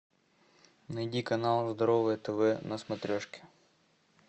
найди канал здоровое тв на смотрешке